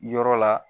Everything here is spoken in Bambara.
Yɔrɔ la